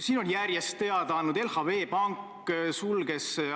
Seal on väga ilusasti esitatud riigivanemate portreed teise maailmasõja eelsest ajast.